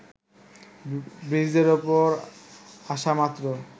ব্রিজের ওপর আসামাত্র